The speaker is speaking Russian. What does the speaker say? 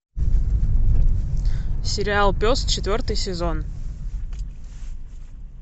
сериал пес четвертый сезон